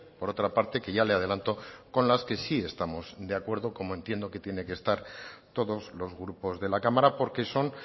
por otra parte que ya le adelanto con las que si estamos de acuerdo como entiendo que tiene que estar todos los grupos de la cámara porque son